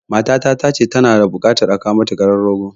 Matata ta ce tana da buƙatar a kawo mata karan rogo